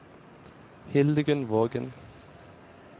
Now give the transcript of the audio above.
Hildegunn Vågen